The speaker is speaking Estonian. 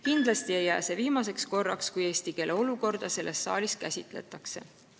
Kindlasti ei jää see viimaseks korraks, kui eesti keele olukorda selles saalis käsitletakse.